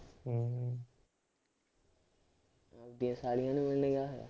ਆਪਦੀਆਂ ਸਾਲੀਆਂ ਨੂੰ ਮਿਲਣ ਗਿਆ ਹੋਇਆ